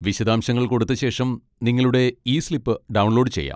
വിശദാംശങ്ങൾ കൊടുത്ത ശേഷം നിങ്ങളുടെ ഇ സ്ലിപ്പ് ഡൗൺലോഡ് ചെയ്യാം.